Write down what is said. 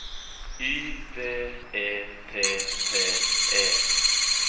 Y V E T T E